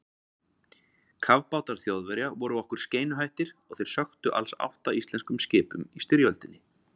Kafbátar Þjóðverja voru okkur skeinuhættir og þeir sökktu alls átta íslenskum skipum í styrjöldinni.